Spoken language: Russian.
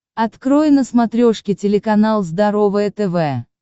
открой на смотрешке телеканал здоровое тв